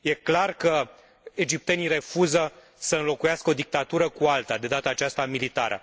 Este clar că egiptenii refuză să înlocuiască o dictatură cu alta, de data aceasta militară.